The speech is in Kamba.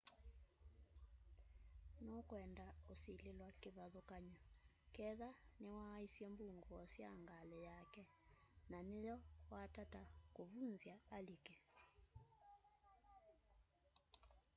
nukwenda usilĩlwa kĩvathũkany'o ketha niwaaisye mbungũo sya ngalĩ yake na nĩyo watataa kũvũnzya alike